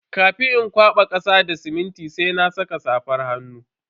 Kafin in kwaba kasa da siminti sai na saka safar hannu.